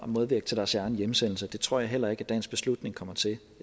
medvirke til deres egen hjemsendelse og det tror jeg heller ikke at dagens beslutning kommer til jeg